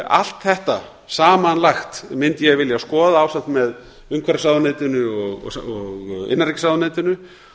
allt þetta samanlagt mundi ég vilja skoða ásamt með umhverfisráðuneytinu og innanríkisráðuneytinu